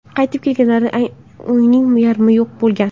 Qaytib kelganlarida uyning yarmi yo‘q bo‘lgan.